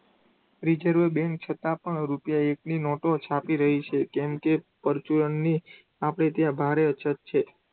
Reserve bank છતાં પણ રૂપિયા એકની નોટો છાપી રહી છે. કેમકે પરચુરણની આપણે ત્યાં ભારે અછત છે.